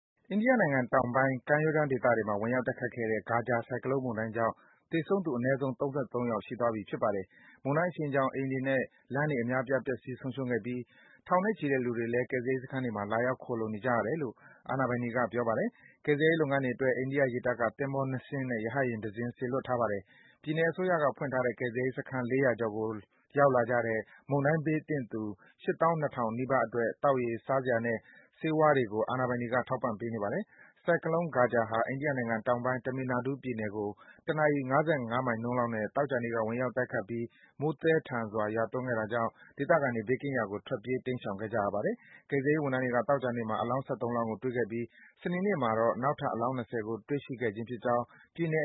အိန္ဒိယနိုင်ငံတောင်ပိုင်း ကမ်းရိုးတန်းဒေသမှာ ဝင်ရောက်တိုက်ခတ်ခဲ့တဲ့ Gaja ဆိုင်ကလုန်း မုန်တိုင်းကြောင့် သေဆုံးသူ အနည်းဆုံး ၃၃ ယောက် ရှိသွားပြီ ဖြစ်ပါတယ်။ မုန်တိုင်းအရှိန်ကြောင့် အိမ်တွေနဲ့ လမ်းတွေ အများအပြား ပျက်စီး ဆုံးရှုံးခဲ့ပြီး ထောင်နဲ့ချီတဲ့လူတွေလည်း ကယ်ဆယ်ရေးစခန်းတွေမှာ လာရောက် ခိုလှုံနေကြရတယ်လို့ အာဏာပိုင်တွေက ပြောပါတယ်။ ကယ်ဆယ်ရေးလုပ်ငန်းတွေအတွက် အိန္ဒိယ ရေတပ်က သင်္ဘော ၂ စင်းနဲ့ ရဟတ်ယာဉ်တစင်း စေလွတ်ထားပါတယ်။ ပြည်နယ်အစိုးရက ဖွင့်ထားတဲ့ ကယ်ဆယ်ရေးစခန်း ၄၀၀ ကျော်ကိုရောက်လာကြတဲ့ မုန်တိုင်းဘေးသင့်သူ ၈၂,၀၀၀ နီးပါးအတွက် သောက်ရေ၊ စားစရာနဲ့ ဆေးဝါးတွေ အာဏာပိုင်တွေက ထောက်ပံ့ပေးနေပါတယ်။ ဆိုင်ကလုန်း Gaja ဟာ အိန္ဒိယတောင်ပိုင်း Tamil Nadu ပြည်နယ်ကို တနာရီ ၅၅ မိုင်နှုန်းလောက်နဲ့ သောကြာနေ့က ဝင်ရောက်တိုက်ခတ်ပြီး မိုးသည်းထန်စွာ ရွာသွန်းခဲ့တာကြောင့် ဒေသခံတွေ ဘေးကင်းရာကို ထွက်ပြေး တိမ်းရှောင်ခဲ့ကြရတာပါ။ ကယ်ဆယ်ရေးဝန်ထမ်းတွေက သောကြာနေ့မှာ အလောင်း ၁၃ လောင်းကို တွေ့ရှိခဲ့ရပြီး စနေနေ့မှာ နောက်ထပ် အလောင်း ၂၀ ကို တွေ့ရှိခဲ့ခြင်း ဖြစ်ကြောင်း ပြည်နယ်